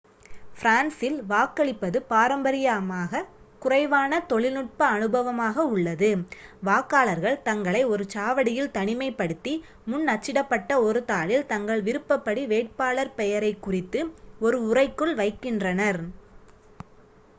பிரான்சில் வாக்களிப்பது பாரம்பரியமாகக் குறைவான தொழில்நுட்ப அனுபவமாக உள்ளது வாக்காளர்கள் தங்களை ஒரு சாவடியில் தனிமைப்படுத்தி முன் அச்சிடப்பட்ட ஒரு தாளில் தங்கள் விருப்பப்படி வேட்பாளர் பெயரைக் குறித்து ஒரு உறைக்குள் வைக்கின்றனர்